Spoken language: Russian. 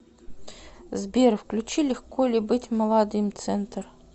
сбер включи легко ли быть молодым центр